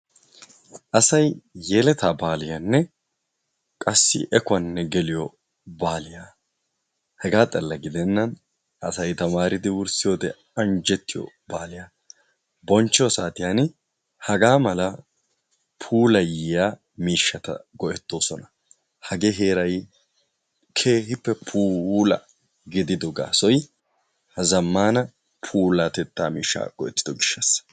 Asay yeletta baaliyanne qassi ekkuwanne geluwa baaliya hega xalaalla gidena asay tamaridi anjjettiyo baaliya bonchcheiy saatiyaan haga mala puulayyiya miishshata go''ettoosona. Hagee heeray keehippe puula gidido gaasoy zammana puulatetta miishshaa go''ettido gishshassa.